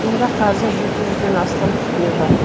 мұнда қазір ден астам түтін бар